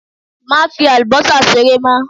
Má fi àlùbọ́sà ṣeré mọ!